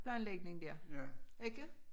Planlægning der ikke?